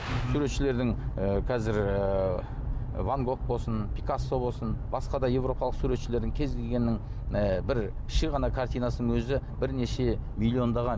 суретшілердің і қазір ыыы ван гог болсын пикассо болсын басқа да еуропалық суретшілердің кез келгенінің і бір кіші ғана картинасының өзі бірнеше миллиондаған